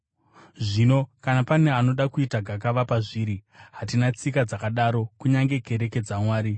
Zvino kana pane anoda kuita gakava pazviri, hatina tsika dzakadaro kunyange kereke dzaMwari.